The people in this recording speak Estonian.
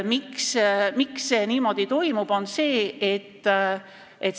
Miks see niimoodi toimub?